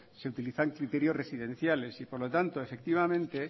se utilizan criterios residenciales y por lo tanto efectivamente